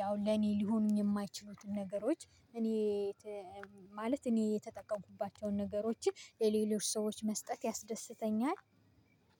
ያው ለኔ ሊሆኑኝ የማይችሉትን ነገሮች እኔ ማለት እኔ የተጠቀምኩባቸውን ነገሮችን ለሌሎች ሰዎች መስጠት ያስደስተኛል።